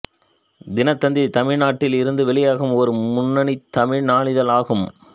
தினத்தந்தி தமிழ்நாட்டில் இருந்து வெளியாகும் ஒரு முன்னணித் தமிழ் நாளிதழ் ஆகும்